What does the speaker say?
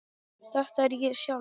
Þetta er ég sjálf.